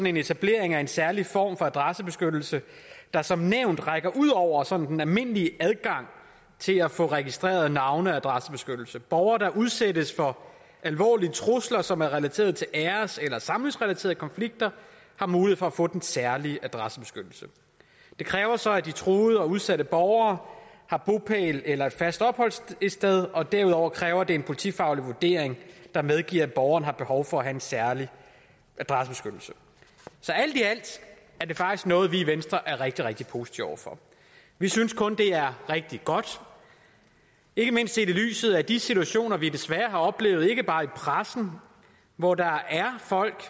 en etablering af en særlig form for adressebeskyttelse der som nævnt rækker ud over sådan den almindelige adgang til at få registreret navne og adressebeskyttelse borgere der udsættes for alvorlige trusler som er relateret til æres eller samlivsrelaterede konflikter har mulighed for at få den særlige adressebeskyttelse det kræver så at de truede og udsatte borgere har bopæl eller et fast opholdssted og derudover kræver det en politifaglig vurdering der medgiver at borgeren har behov for at have en særlig adressebeskyttelse så alt i alt er det faktisk noget vi i venstre er rigtig rigtig positive over for vi synes kun at det er rigtig godt ikke mindst set i lyset af de situationer vi desværre har oplevet og ikke bare i pressen hvor der er folk